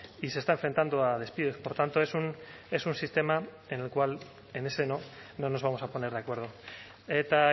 y se está enfrentando a despidos por tanto es un sistema en el cual en ese no no nos vamos a poner de acuerdo eta